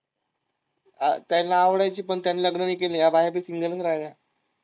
हा, त्यांना आवडायची पण त्यांनी लग्न नाही केले, या बाया बी सिंगल च राहिल्या.